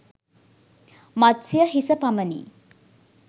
මත්ස්‍ය හිස පමණි.